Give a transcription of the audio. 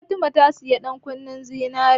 Fatima ta sanya ƴankunnen zinare.